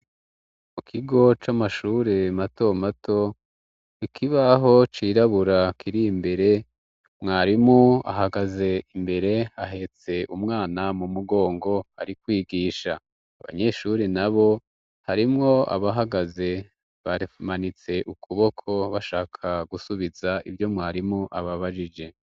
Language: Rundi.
Mu kigo c'amashure mato mato, ikibaho cirabura kiri imbere, mwarimu ahagaze imbere ahetse umwana mu mugongo, ari kwigisha . Abanyeshuri nabo harimwo abahagaze bamanitse ukuboko bashaka gusubiza ivyo mwarimu ababajije.